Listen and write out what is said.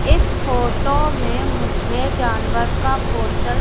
इस फोटो में मुझे जानवर का पोस्टर --